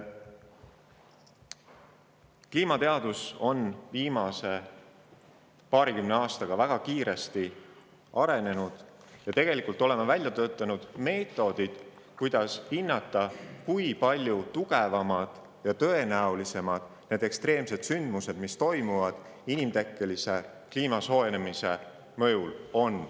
Kliimateadus on viimase paarikümne aastaga väga kiiresti arenenud ja on välja töötanud meetodid, kuidas hinnata seda, kui palju need inimtekkelise kliimasoojenemise mõjul toimuvad ekstreemsed sündmused on ja kui palju tõenäolisem.